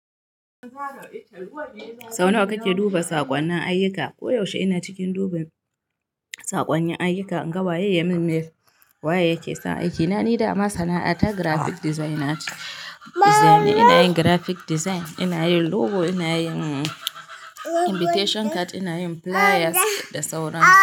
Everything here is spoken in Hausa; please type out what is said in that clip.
Sau nawa kake duba saƙonnin ayyuka? Koyaushe ina cikin duban sakonnin ayyuka, anga waye ya min mail waye yake son aiki. Na ni dama sana'ata graphic design na ke. Da zane ina yin graphic design, ina yin logo, ina yin invitation card, ina yin flyers da sauransu.